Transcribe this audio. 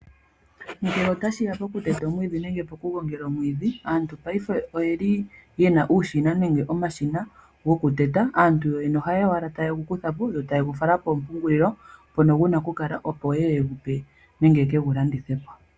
Ngele otashi ya pokuteta omwiidhi nenge poku gongela omwiidhi aantu paife oyena uushina nenge omashina gokuteta. Aantu yoyene ohaye ya owala tayegu kutha po nenge taye gu fala kompungulilo mpono guna okukala nenge yekegu landithe.